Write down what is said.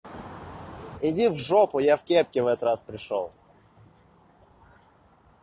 иди в жопу я в кепке в этот раз пришёл